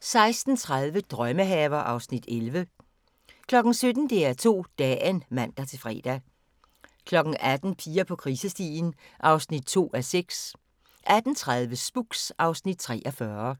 16:30: Drømmehaver (Afs. 11) 17:00: DR2 Dagen (man-fre) 18:00: Piger på krisestien (2:6) 18:30: Spooks (Afs. 43)